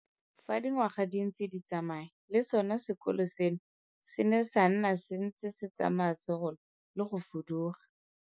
Fa dingwaga di ntse di tsamaya, le sona sekolo seno se ne sa nna se ntse se tsamaya se gola le go fuduga.